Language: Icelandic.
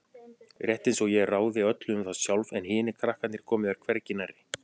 Rétt einsog ég ráði öllu um það sjálf en hinir krakkarnir komi þar hvergi nærri.